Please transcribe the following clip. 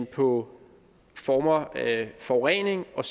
på former af forurening og